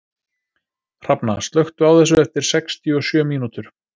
Hrafna, slökktu á þessu eftir sextíu og sjö mínútur.